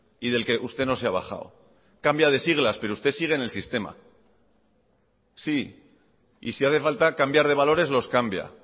y del que usted no se ha bajado cambia de siglas pero usted sigue en el sistema sí y si hace falta cambiar de valores los cambia